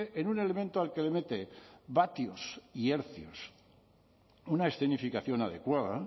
en un elemento al que le mete vatios y hercios una escenificación adecuada